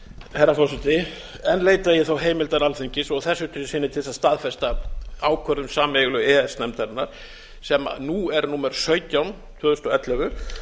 herra forseti enn leita ég þá heimildar alþingis og að þessu sinni til þess að staðfesta ákvörðun sameiginlegu e e s nefndarinnar sem nú er númer sautján tvö þúsund og ellefu